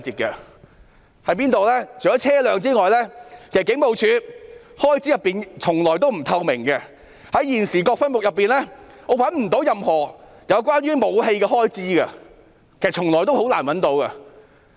除了車輛外，警務處的開支從來都不透明，在現時各分目中，我找不到任何有關武器的開支，其實從來也很難找到。